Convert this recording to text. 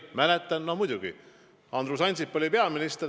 Mäletan küll õigesti – no muidugi, Andrus Ansip oli peaminister.